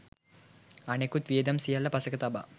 අනෙකුත් වියදම් සියල්ල පසෙක තබා